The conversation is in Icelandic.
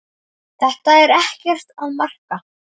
Þetta er ekkert að marka.